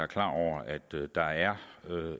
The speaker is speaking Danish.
klar over at der er